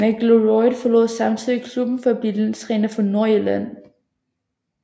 McIlroy forlod samtidig klubben for at blive landstræner for Nordirland